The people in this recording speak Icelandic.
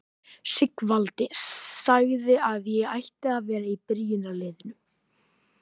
Sigvaldi sagði að ég ætti að vera í byrjunarliðinu!